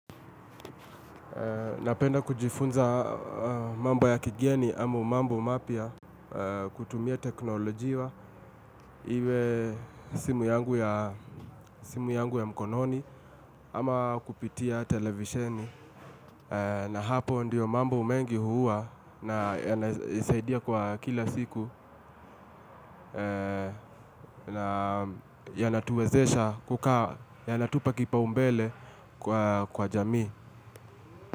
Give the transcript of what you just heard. Napenda kujifunza mambo ya kigeni ama mambo mapya kutumia teknolojia iwe simu yangu ya mkononi ama kupitia televisheni na hapo ndio mambo mengi huwa na yanasaidia kwa kila siku na yanatuwezesha kukaa, yanatupa kipa umbele kwa jamii.